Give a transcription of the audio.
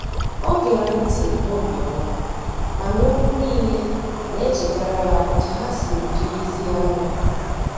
o gere nti n'obioma, mana okwu nile na echetara ya otu ha siri dirizie anya.